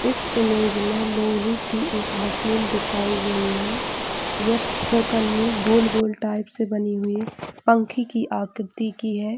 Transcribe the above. इस इमेज में लोहे की एक मशीन दिखाई गई है यह परकनी गोल - गोल टाईप से बनी हुई है पंखे की आकृति की है।